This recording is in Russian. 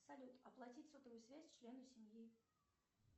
салют оплатить сотовую связь члену семьи